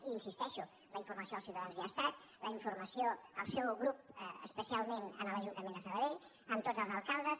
i hi insisteixo la informació als ciutadans hi ha estat la informació al seu grup especialment a l’ajuntament de sabadell a tots els alcaldes